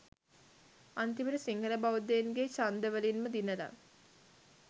අන්තිමට සිංහල බෞද්ධයින්ගේ චන්ද වලින්ම දිනල